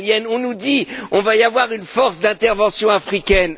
On nous dit qu'il y aura une force d'intervention africaine.